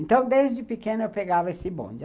Então, desde pequena, eu pegava esse bonde.